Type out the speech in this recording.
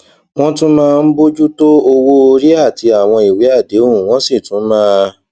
wón tún máa ń bójú tó owó orí àti àwọn ìwé àdéhùn wón sì tún máa